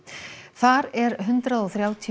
þar er hundrað og þrjátíu